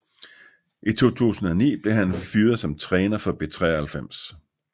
I 2009 blev han fyret som træner for B93